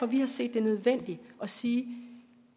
vi har set det nødvendigt at sige